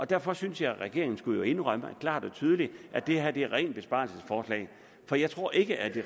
derfor synes jeg at regeringen skulle indrømme klart og tydeligt at det her er et rent besparelsesforslag for jeg tror ikke at